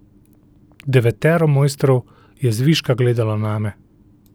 Devetero mojstrov je zviška gledalo name.